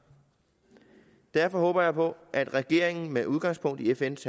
derfor håber jeg på at regeringen med udgangspunkt i fns